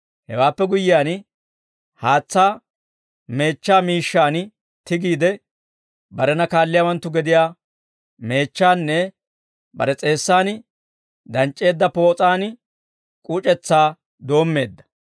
Hewaappe guyyiyaan, haatsaa meechchaa miishshaan tigiide, barena kaalliyaawanttu gediyaa meechchaanne bare s'eessan danc'c'eedda poos'an k'uc'ussaa doommeedda.